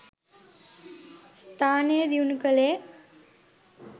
ස්ථානය දියුණු කළේ.